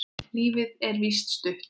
Lífið er víst stutt.